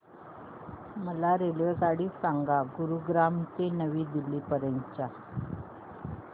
मला रेल्वेगाडी सांगा गुरुग्राम ते नवी दिल्ली पर्यंत च्या